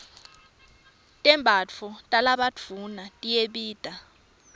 tembatfo talabadvuna tiyabita